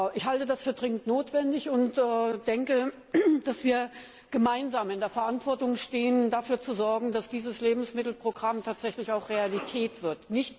Ich halte das für dringend notwendig und denke, dass wir gemeinsam in der Verantwortung stehen, dafür zu sorgen, dass dieses Lebensmittelprogramm tatsächlich auch Realität wird.